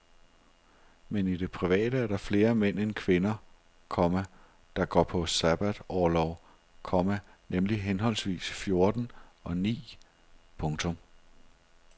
Men i det private er der flere mænd end kvinder, komma der går på sabbatorlov, komma nemlig henholdsvis fjorten og ni. punktum